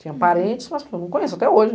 Tinha parentes, mas que eu não conheço até hoje.